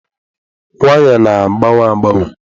Waya na-agbanwe agbanwe.